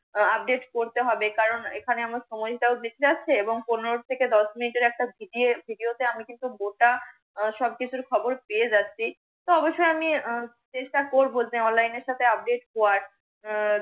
update করতে হবে। কারন এখানে আমার সময় টা বেঁচে যাচ্ছে। এবং পনের থেকে দশ মিনিটের একটা ভিডি য়ে ভিডিও তে আমি কিন্তু গোটা সব কিছুর খবর পেয়ে যাচ্ছি। তো অবশ্যই আমি আহ চেষ্টা করব যে আমি অনলাইনের সাথে update কর আহ